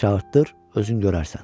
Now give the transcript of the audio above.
Çağırtdır, özün görərsən.